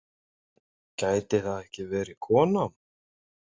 Gæti það ekki verið kona?